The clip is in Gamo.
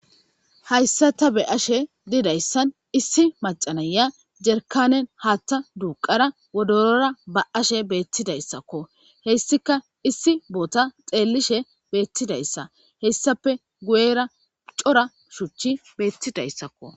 hayssa ta be'ashe didayssan issi macanaya jerkanen haatta duuqara wodorora ba'ashe beettidayssakko hessika issi boota xeellishe beettidayssa hessape gu'era cora shuchchi beettidayssakko